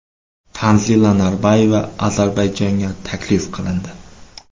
Tanzila Norboyeva Ozarbayjonga taklif qilindi.